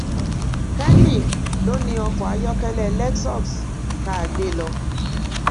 kenny ló ni ọkọ ayọkẹlẹ lexus tá a gbé lọ